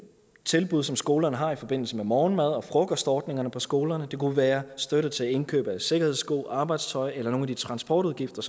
tilbud som skolerne har i forbindelse med morgenmad og frokostordninger på skolerne det kunne være støtte til indkøb af sikkerhedssko arbejdstøj eller til nogle af de transportudgifter